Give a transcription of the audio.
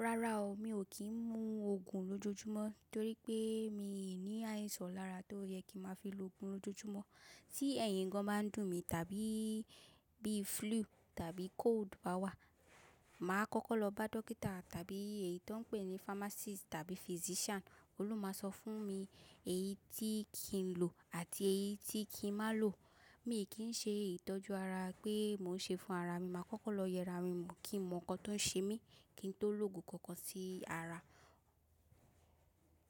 Rárá o, mi ò kí ń mu òògùn lójoojúmọ́ torí pé mi ò ní àìsàn lára tó yẹ kí má fi lo òògùn lójoojúmọ́. Tí ẹyin gan bá ń dùn mi tàbí bí flu tàbí cold bá wà, mà á kọ́kọ́ lọ bá dókítà tàbí èyí tó ń pè ní pharmacist tàbí physician. Ohun lo máa sọ fún mi èyí tí kí n lò àti èyí tí kí n má lò. Mi ò kí ń ṣe ìtọ́jú ara pé mò ń ṣe fún ara mi. Mà á kọ́kọ́ lọ yẹra mi mó kí n mọ̀ nkàn tó ń ṣe mí kí n tó lò òògùn kankan sí ara.